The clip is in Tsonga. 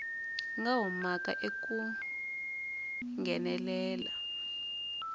nga humaka eka ku nghenelela